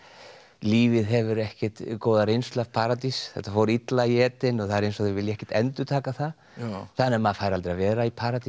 lífið hefur ekkert góða reynslu af paradís þetta fór illa í Eden og eins og þau vilji ekkert endurtaka það þannig að maður fær aldrei að vera í paradís